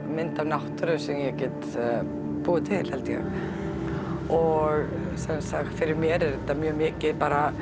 mynd af náttúru sem ég get búið til held ég og sem sagt fyrir mér er þetta mjög mikið